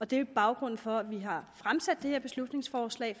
det er baggrunden for at vi har fremsat det her beslutningsforslag